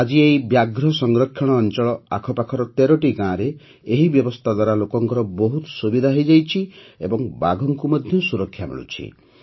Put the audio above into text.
ଆଜି ଏହି ବ୍ୟାଘ୍ର ସଂରକ୍ଷଣ ଅଞ୍ଚଳ ଆଖପାଖର ୧୩ଟି ଗାଁରେ ଏହି ବ୍ୟବସ୍ଥା ଦ୍ୱାରା ଲୋକଙ୍କର ବହୁତ ସୁବିଧା ହୋଇଯାଇଛି ଓ ବାଘଙ୍କୁ ମଧ୍ୟ ସୁରକ୍ଷା ମିଳୁଛି